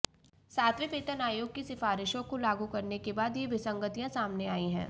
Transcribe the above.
सातवें वेतन आयोग की सिफारिशों को लागू करने के बाद ये विसंगतियां सामने आई हैं